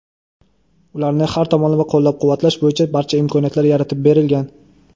ularni har tomonlama qo‘llab-quvvatlash bo‘yicha barcha imkoniyatlar yaratib berilgan.